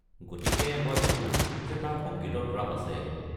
গতিকে মই ভাবোঁ যে তাৰ সংগীতত ৰাপ আছে।